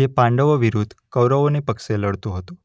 જે પાંડવો વિરુદ્ધ કૌરવોને પક્ષે લડતો હતો.